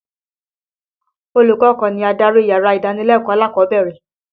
Olùkọ́ kan ni adarí yàrá ìdánilẹ́kọ̀ọ́ alákọ̀ọ́bẹ̀rẹ̀.